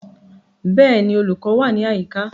Bẹ́ẹ̀ni, olùkọ́ wà ní àyíká